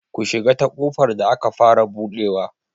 Ku shiga ta ƙofar da aka fara buɗewa!